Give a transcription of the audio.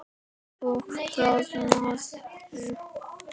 Þú roðnar.